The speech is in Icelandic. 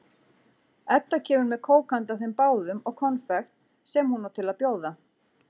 Edda kemur með kók handa þeim báðum og konfekt sem hún á til að bjóða.